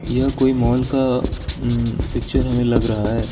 यह कोई मॉल का उ पिक्चर हमें लग रहा है।